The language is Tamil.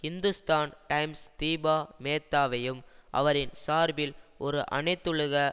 ஹிந்துஸ்தான் டைம்ஸ் தீபா மேத்தாவையும் அவரின் சார்பில் ஒரு அனைத்துலக